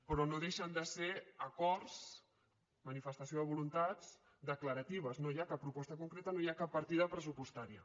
però no deixen de ser acords manifestació de voluntats declaratives no hi ha cap proposta concreta no hi ha cap partida pressupostària